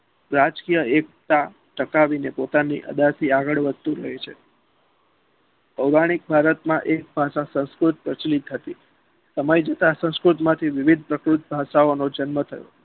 રાજકીય એકતા ટકાવીને પોતાની અદા થી આગળ વધતું રહે છે પોરાણિક ભારતમાં એક ભાષા સંસ્કૃત પછી એક હતી તમારી જેટલા સંસ્કૃત માંથી વિવિધ ભાષા ઓનો જન્મ થયો છે